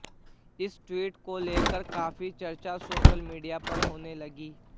इस ट्वीट को लेकर काफी चर्चा सोशल मीडिया पर होने लगी